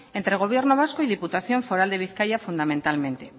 entre gobierno vasco y diputación foral de bizkaia fundamentalmente